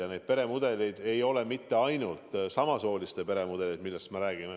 Kõik muud peremudelid ei ole ainult samasooliste peremudelid.